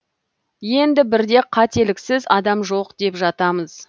енді бірде қателіксіз адам жоқ деп жатамыз